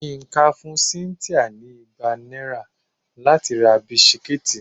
Yinka fún cynthia ní igba náírà láti ra bisikí.